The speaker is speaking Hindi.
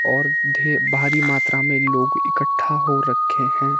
और ढे भारी मात्रा में लोग इकट्ठा हो रखे हैं।